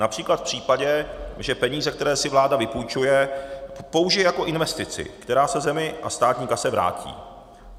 Například v případě, že peníze, které si vláda vypůjčuje, použije jako investici, která se zemi a státní kase vrátí.